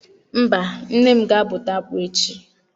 Mba, nne m ga-abụta akpụ echi.